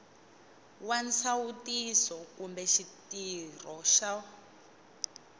wa nsawutiso kumbe xitirho xo